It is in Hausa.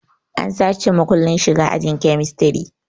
An sace makullin shiga ahin kemistri